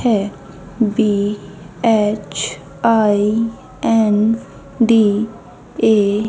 है बी_एच_आई_एन_डी_ए --